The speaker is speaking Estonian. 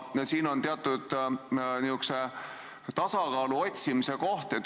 Siin on teatud tasakaalu otsimise koht.